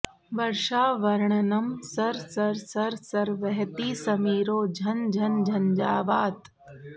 वर्षा वर्णनम् सर् सर् सर् सर् वहति समीरो झन् झन् झञ्झावातः